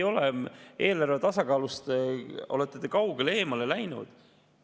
Eelarve tasakaalust olete te kaugele eemale läinud.